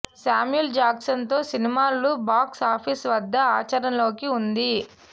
Samuel Jackson తో సినిమాలు box office వద్ద ఆచరణలోకి ఉంది